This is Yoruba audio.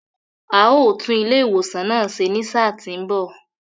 A ó tún ilé ìwòsan náà ṣe ní sáà tí ń bọ̀.